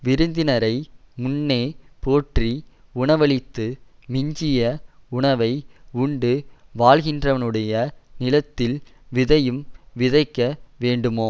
விருந்தினரை முன்னே போற்றி உணவளித்து மிஞ்சிய உணவை உண்டு வாழ்கின்றவனுடைய நிலத்தில் விதையும் விதைக்க வேண்டுமோ